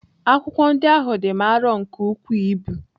Akwụkwọ ndị ahụ dị m arọ nke ukwuu ibu.